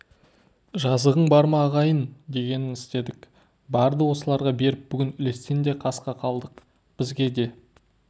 жазығың бар ма ағайын дегенін істедік барды осыларға беріп бүгін үлестен де қақас қалдық бізге де